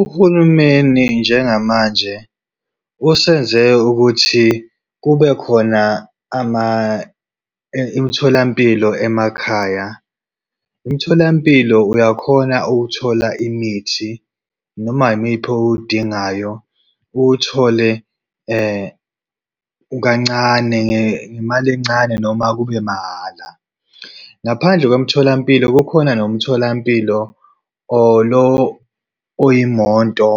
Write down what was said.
Uhulumeni njengamanje usenze ukuthi kube khona imitholampilo emakhaya. Umtholampilo uyakhona ukuthola imithi noma imiphi owudingayo, uwuthole kancane ngemali encane noma kube mahhala. Ngaphandle kwemtholampilo kukhona nomtholampilo oyimoto